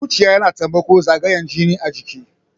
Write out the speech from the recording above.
Zuciya yana taimakon zagayan jini a jiki.